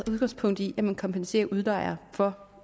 udgangspunkt i at man kompenserer udlejer for